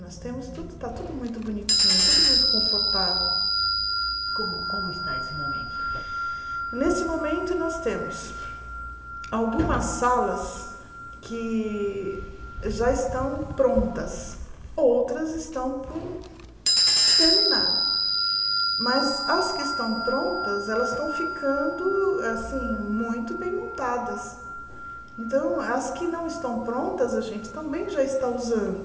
nós temos tudo está tudo muito bonitinho tudo muito confortável como como está esse momento nesse momento nós temos algumas salas que já estão prontas outras estão por terminar mas as que estão prontas elas estão ficando assim muito bem montadas então as que não estão prontas a gente também já está usando